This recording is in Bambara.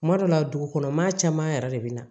Kuma dɔ la dugu kɔnɔ maa caman yɛrɛ de bɛ na